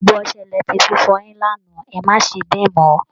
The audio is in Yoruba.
Gbogbo ọsẹ lẹ ti fi fọyin lánàá, ẹ má ṣe bẹ́ẹ̀ mọ́ o!